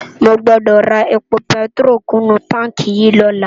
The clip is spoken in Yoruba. Mógbódó rá épó pètiró kún nu tánki yi lòlá